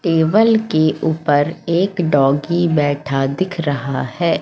Table के ऊपर एक डॉगी बैठा दिख रहा है।